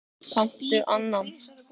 Kanntu annan?